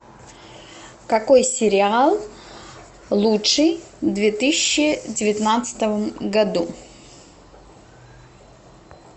какой сериал лучший в две тысячи девятнадцатом году